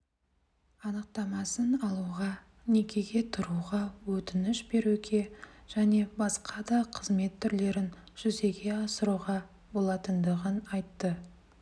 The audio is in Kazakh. анықтамасын алуға некеге тұруға өтініш беруге және басқа да қызмет түрлерін жүзеге асыруға болатындығын айтты